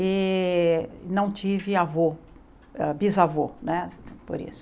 E não tive avô, hã bisavô, né, por isso.